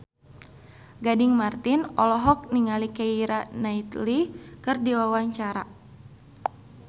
Gading Marten olohok ningali Keira Knightley keur diwawancara